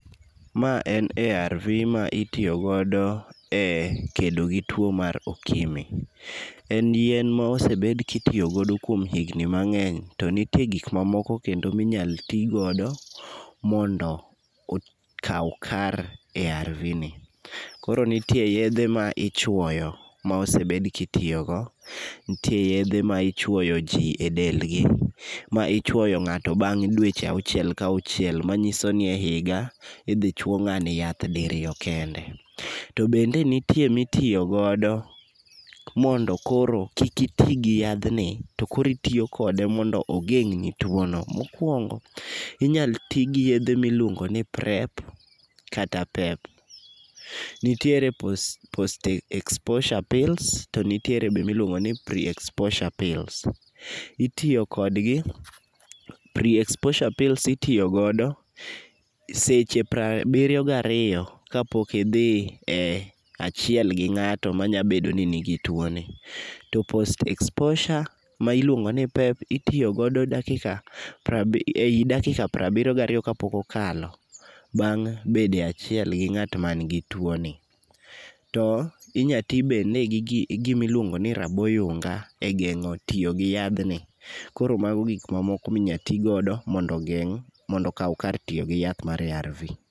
Ma en arv ma itiyo godo e kedo gi tuwo mar okimi. En yien ma osebed ka itiyo godo kuom higni mang'eny, to nitie gik mamoko kendo minyalo ti godo mondo okaw kar arvni. Koro nitie yedhe ma ichuoyo ma osebed ka itiyogo. Nitie yedhe ma ichwoyo ji e delgi ,ma ichwoyo ng'ato bang' dweche auchiel ka auchiel, manyiso ni e higa, idhi chuo ng'ani yath diriyo kende. To bende nitie mitiyo godo mondo koro kik iti gi yadhni, to koro itiyo kode mondo ogeng'ni tuono. Mokwongo, inyalo ti gi yedhe miluongo ni prep kata pep. Nitiere post exposure pills, to nitiere be miluongoni pre exposure pills. Itiyo kodgi, pre exposure pills itiyo godo seche prabiriyo gariyo kapok idhi e achiel gi ng'ato manyalo bedo ni nigi tuwoni. To post exposure ma iluongo ni pep, itiyo godo dakika prabiriyo gariyo kapok okalo bang' bedo e achiel gi ng'at manigi tuwoni. To inya ti bende gi gimiluongo ni rabo yunga ei geng'o tiyogi yadhni, koro mago gik ma moko minya to godo mondo ogeng' mondo okaw kar tiyo gi yath mar arv.